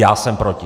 Já jsem proti.